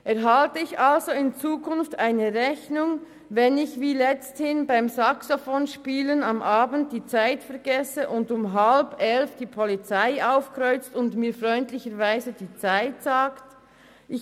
Erhalte ich also in Zukunft eine Rechnung, wenn ich, wie kürzlich geschehen, am Abend beim Saxofonspielen die Zeit vergesse und um 22.30 Uhr die Polizei aufkreuzt und mir freundlicherweise die Zeit mitteilt?